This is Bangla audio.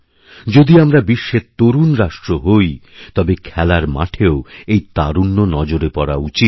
যদি আমরা বিশ্বের তরুণ রাষ্ট্র হই তবে খেলার মাঠেও এই তারুণ্য নজরে পড়াউচিত